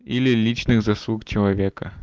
или личных заслуг человека